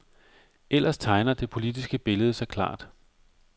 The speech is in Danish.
Ellers tegner det politiske billede sig klart.